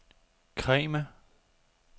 Kregme